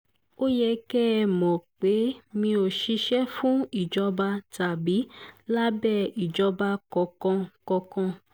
ó yẹ kẹ́ ẹ mọ̀ pé mi ò ṣiṣẹ́ fún ìjọba tàbí lábẹ́ ìjọba kankan kankan